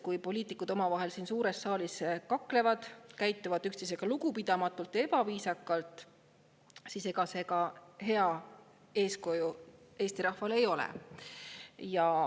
Kui poliitikud omavahel siin suures saalis kaklevad, käituvad üksteisega lugupidamatult ja ebaviisakalt, siis ega see hea eeskuju Eesti rahvale ei ole.